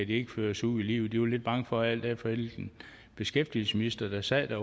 de ikke føres ud i livet de var lidt bange for alt efter hvilken beskæftigelsesminister der sad